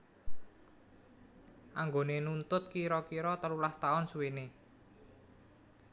Anggone nuntut kira kira telulas taun suwene